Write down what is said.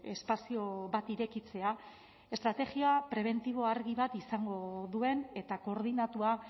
espazio bat irekitzea estrategia prebentibo argi bat izango duen eta koordinatua